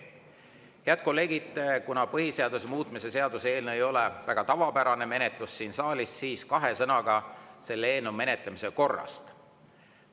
Head kolleegid, kuna põhiseaduse muutmise seaduse eelnõu ei ole väga tavapärane menetlus siin saalis, siis kahe sõnaga selle eelnõu menetlemise korrast.